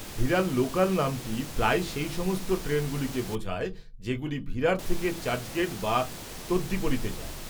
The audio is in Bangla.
ভিরার লোকাল নামটি প্রায়ই সেই সমস্ত ট্রেনগুলোকে বোঝায় যেগুলি ভিরার থেকে চার্চগেট বা তদ্বিপরীতে যায়।